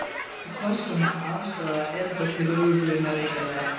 Og hvers konar afstaða er þetta til lögreglunnar eiginlega?